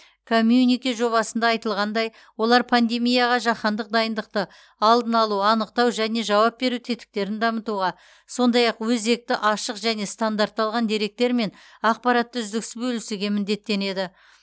коммюнике жобасында айтылғандай олар пандемияға жаһандық дайындықты алдын алу анықтау және жауап беру тетіктерін дамытуға сондай ақ өзекті ашық және стандартталған деректер мен ақпаратты үздіксіз бөлісуге міндеттенеді